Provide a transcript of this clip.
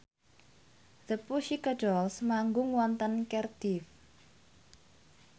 The Pussycat Dolls manggung wonten Cardiff